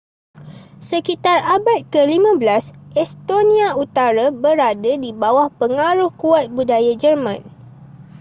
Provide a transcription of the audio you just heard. sekitar abad ke-15 estonia utara berada di bawah pengaruh kuat budaya german